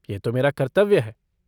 यह तो मेरा कर्तव्य है।